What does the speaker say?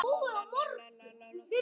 LÁRUS: Illa!